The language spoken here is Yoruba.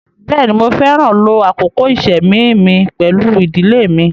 Bẹ́ẹ̀ni, Mo fẹran ló àkókò ìṣẹ́mi mi pẹ̀lú idílé mi